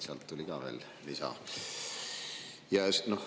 Sealt tuli veel lisa.